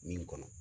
Min kɔnɔ